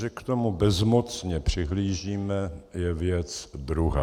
Že k tomu bezmocně přihlížíme, je věc druhá.